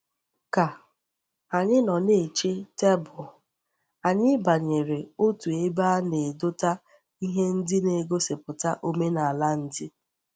Ka anyi no na-eche tebul, anyi banyere otu ebe a na-edota ihe ndi na-egosiputa omenala ndi.